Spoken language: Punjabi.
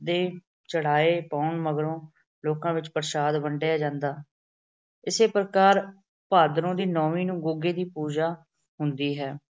ਜਾਂਦੇ। ਚੜਾਏ ਪਾਉਣ ਮਗਰੋਂ ਲੋਕਾਂ ਵਿੱਚ ਪ੍ਰਸ਼ਾਦ ਵੰਡਿਆ ਜਾਂਦਾ। ਇਸੇ ਪ੍ਰਕਾਰ ਭਾਦਰੋਂ ਦੀ ਨੌਮੀ ਨੂੰ ਗੁੱਗੇ ਦੀ ਪੂਜਾ ਹੁੰਦੀ ਹੈ।